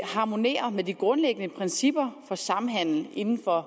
harmonerer med de grundlæggende principper samhandel inden for